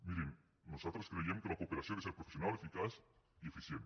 mirin nosaltres creiem que la cooperació ha de ser professional eficaç i eficient